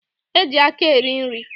E ji aka eri nri.